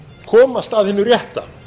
komast að hinu rétta